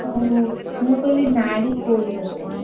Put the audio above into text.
ଓହୋ ମୁଁ କହିଲି ନାଡି କୋଳି ତରକାରୀ?